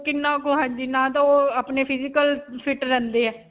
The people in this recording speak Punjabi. ਕਿੰਨਾ ਕ ਹਾਂਜੀ. ਨਾ ਤਾਂ ਓਹ ਅਪਨੇ physical fit ਰਹਿੰਦੇ ਹੈ.